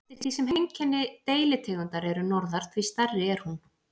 Eftir því sem heimkynni deilitegundar er norðar, því stærri er hún.